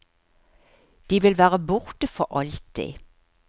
De vil være borte for alltid.